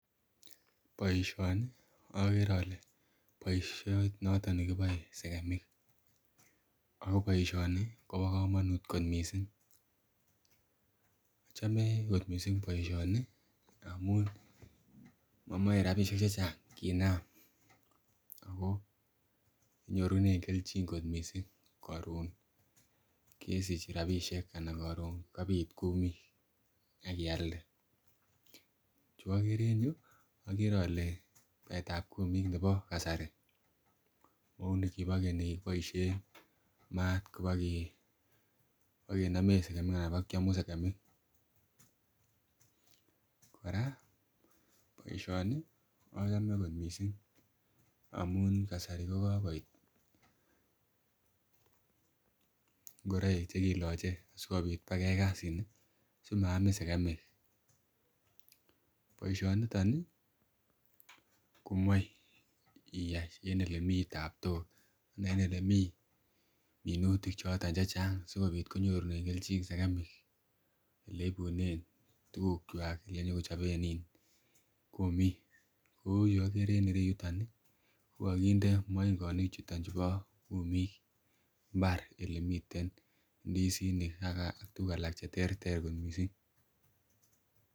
Boishoni okere ole boishet noton nekiboe sekemi akoboishoni kobo komonut kot missing' ochome kot missing' boisioni amun momoe rabishek chechang kinam ako inyorune keljin kot missing' koron kesich rabinik anan koron kabit kumik ak ialde , chu okereen yu okere ole baetab kumik nebo kasari mau ni kibo keny nikikiboishen maat kibokenomen anan bokiomu sekemik , koraa boisioni ochome kot missing' amun kasari kokokoit , ngoroik chekiloche si maamin sekemik, boishoniton komoe iyai en elemi taptok anan en elemi minutik choton chechang sikobit konyorunen keljin sekemik eleibunen tukukwak elenyokochoben ii kumik kou yu okere en yuton kokokinde moingonik chuto chubo kumik